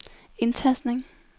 indtastning